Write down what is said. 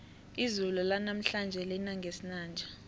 izulu lanamhlanje lina ngesinanja